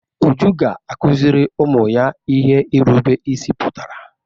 Uju ga-akụzịrị ụmụ ya ihe irube isi pụtara.